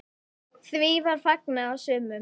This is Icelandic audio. Því var fagnað af sumum.